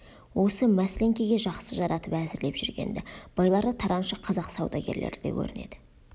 осы мәсленкеге жақсы жаратып әзірлеп жүрген-ді байлары тараншы қазақ саудагерлері де көрінеді